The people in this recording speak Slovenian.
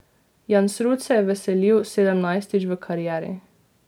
Jansrud se je veselil sedemnajstič v karieri.